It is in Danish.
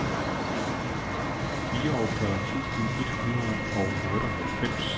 fireogfyrre tusind et hundrede og otteoghalvfems